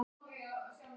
Íþrótt sú að móta leir.